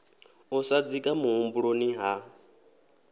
u sa dzika muhumbuloni ha